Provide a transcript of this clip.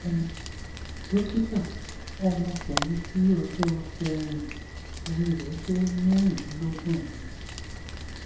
um dókítà ọmọ ọkunrin tí ọjọ um orí rẹ jẹ mẹrìndínlọgbọn ni mí